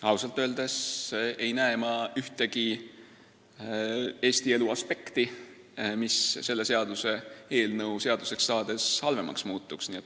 Ausalt öeldes ei näe ma ühtegi Eesti elu aspekti, mis selle seaduseelnõu seaduseks saades halvemaks muutuks.